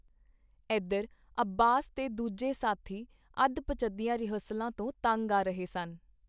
ਏਧਰ ਅੱਬਾਸ ਤੇ ਦੂਜੇ ਸਾਥੀ ਅੱਧ-ਪਚੱਧੀਆਂ ਰਿਹਰਸਲਾਂ ਤੋਂ ਤੰਗ ਆ ਰਹੇ ਸਨ.